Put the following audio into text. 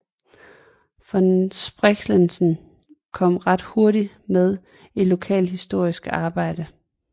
Von Spreckelsen kom ret hurtigt med i det lokalhistoriske arbejde